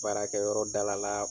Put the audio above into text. Baarakɛyɔrɔ dala la